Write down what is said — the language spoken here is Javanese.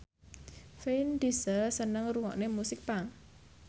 Vin Diesel seneng ngrungokne musik punk